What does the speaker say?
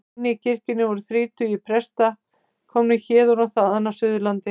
Inni í kirkjunni voru þrír tugir presta, komnir héðan og þaðan af Suðurlandi.